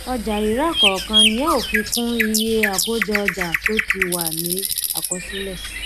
ọjàrírà kọọkan ni a ó fi kún iye àkójọọjà tó ti wà ní àkọsílẹ